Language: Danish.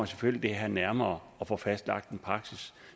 selvfølgelig det her nærmere og får fastlagt en praksis